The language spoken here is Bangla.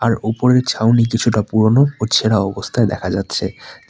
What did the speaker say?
আর উপরের ছাউনি কিছুটা পুরোনো ও ছেঁড়া অবস্থায় দেখা যাচ্ছে।